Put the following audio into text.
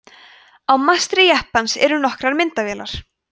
á mastri jeppans eru nokkrar myndavélar